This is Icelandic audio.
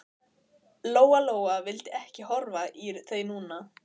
Lóa Lóa vildi ekki horfa í þau núna.